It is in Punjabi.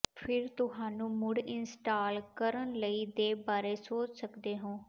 ਫਿਰ ਤੁਹਾਨੂੰ ਮੁੜ ਇੰਸਟਾਲ ਕਰਨ ਲਈ ਦੇ ਬਾਰੇ ਸੋਚ ਸਕਦੇ ਹੋ